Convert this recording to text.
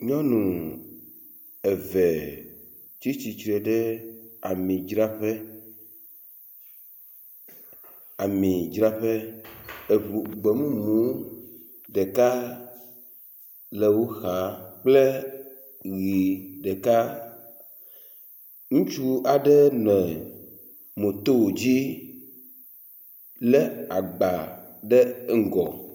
Nyɔnu eve tsi tsitre ɖe amidzraƒe. Amidzraƒe eŋu gbɔ. Gbemumu ɖeka le wo xa kple ʋi ɖeka. Ŋutsu aɖe le moto dzi lé agba ɖe ŋgɔ.